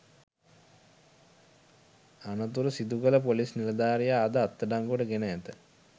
අනතුර සිදුකළ පොලිස් නිලධාරියා අද අත්අඩංගුවට ගෙන ඇත